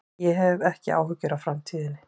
Ég hef ekki áhyggjur af framtíðinni.